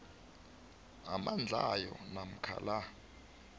amandlayo namkha la